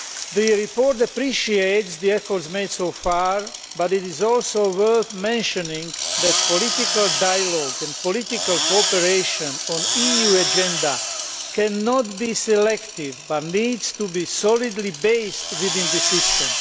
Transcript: The report appreciates the efforts made so far, but it is also worth mentioning that political dialogue and political cooperation on the EU agenda cannot be selective, but needs to be solidly based within the system.